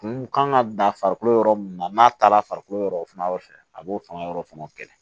Kun kan ka dan farikolo yɔrɔ min na n'a taala farikolo yɔrɔ o fɛnɛ fɛ a b'o fanga yɔrɔ fɛnɛ